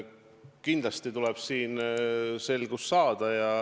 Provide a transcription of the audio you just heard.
Kindlasti tuleb selles selgust saada.